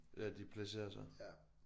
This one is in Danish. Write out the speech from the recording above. Ja de placerer sig